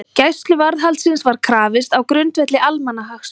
Gæsluvarðhaldsins var krafist á grundvelli almannahagsmuna